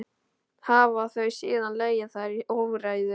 Hafa þau síðan legið þar í óreiðu.